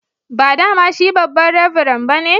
Ba dama shi babba'n revran ba ne?